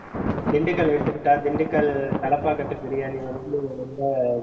திண்டுக்க எடுத்துக்கிட்டா திண்டுக்கல் தலப்பாக்கட்டு biryani வந்து ரொம்ப